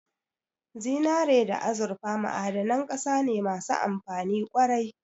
Zinare da azurfa ma'adanan ƙasa ne masu amfani ƙwarai